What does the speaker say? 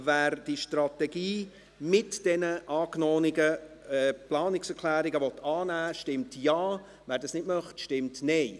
Wer die Strategie mit den angenommenen Planungserklärungen annehmen will, stimmt Ja, wer dies nicht möchte, stimmt Nein.